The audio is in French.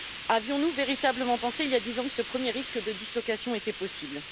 Avions nous véritablement pensé, il y a dix ans, que ce premier risque de dislocation était possible?